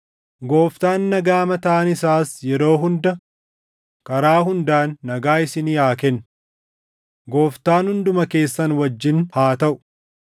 Gooftaan nagaa mataan isaas yeroo hunda, karaa hundaan nagaa isinii haa kennu. Gooftaan hunduma keessan wajjin haa taʼu.